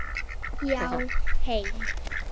Já, heim.